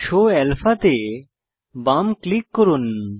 show alpha তে বাম click করুন